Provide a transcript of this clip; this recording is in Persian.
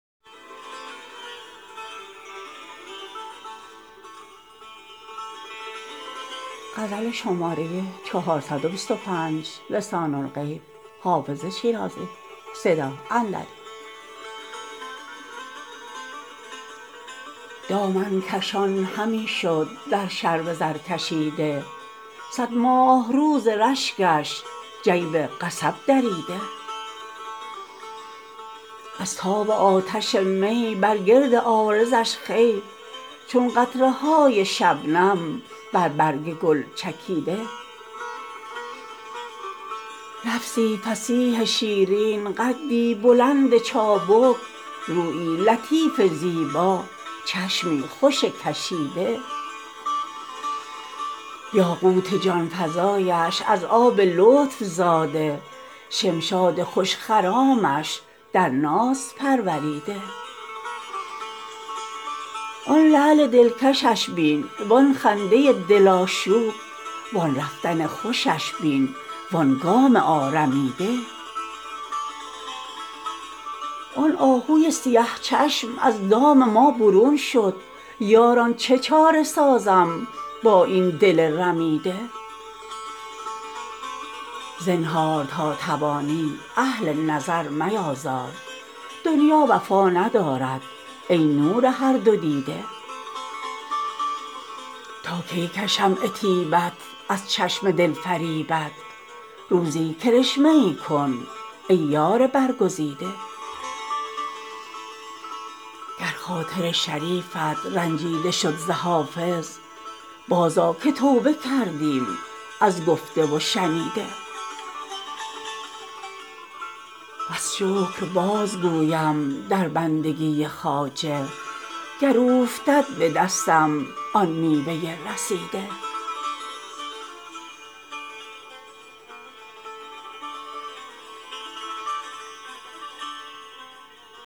دامن کشان همی شد در شرب زرکشیده صد ماهرو ز رشکش جیب قصب دریده از تاب آتش می بر گرد عارضش خوی چون قطره های شبنم بر برگ گل چکیده لفظی فصیح شیرین قدی بلند چابک رویی لطیف زیبا چشمی خوش کشیده یاقوت جان فزایش از آب لطف زاده شمشاد خوش خرامش در ناز پروریده آن لعل دلکشش بین وآن خنده دل آشوب وآن رفتن خوشش بین وآن گام آرمیده آن آهوی سیه چشم از دام ما برون شد یاران چه چاره سازم با این دل رمیده زنهار تا توانی اهل نظر میآزار دنیا وفا ندارد ای نور هر دو دیده تا کی کشم عتیبت از چشم دل فریبت روزی کرشمه ای کن ای یار برگزیده گر خاطر شریفت رنجیده شد ز حافظ بازآ که توبه کردیم از گفته و شنیده بس شکر بازگویم در بندگی خواجه گر اوفتد به دستم آن میوه رسیده